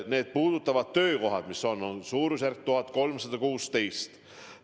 Need puudutavad töökohti, mida on kokku 1316.